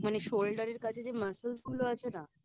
মানে Shoulder এর কাছে যে Muscles গুলো আছে না